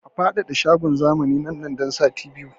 A faɗaɗa shagon zamanin nan nan da sati biyu!